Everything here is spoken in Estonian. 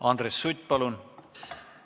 Andres Sutt, palun!